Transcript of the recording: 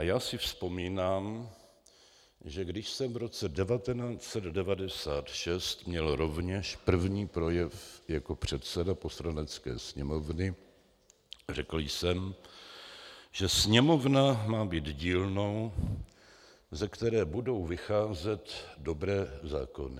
A já si vzpomínám, že když jsem v roce 1996 měl rovněž první projev jako předseda Poslanecké sněmovny, řekl jsem, že Sněmovna má být dílnou, ze které budou vycházet dobré zákony.